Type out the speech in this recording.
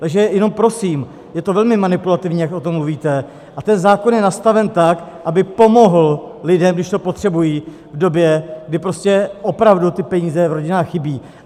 Takže jenom prosím, je to velmi manipulativní, jak o tom mluvíte, a ten zákon je nastaven tak, aby pomohl lidem, když to potřebují, v době, kdy prostě opravdu ty peníze v rodinách chybí.